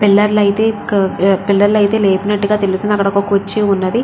పిల్లర్లు అయితే పిల్లర్లు అయితే లేపి నట్లుగా తెలుస్తుంది అక్కడ ఒక కుర్చీ ఉన్నది.